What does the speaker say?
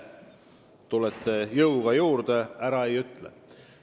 Tulete jõuga appi, ega ma ära ütle.